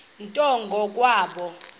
nto ngo kwabo